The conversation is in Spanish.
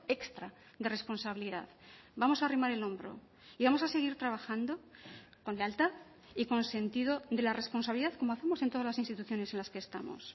extra de responsabilidad vamos a arrimar el hombro y vamos a seguir trabajando con lealtad y con sentido de la responsabilidad como hacemos en todas las instituciones en las que estamos